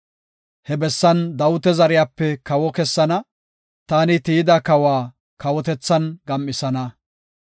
He bessan Dawita zeriyape kawo kessana; taani tiyida kawa kawotethan gam7isana.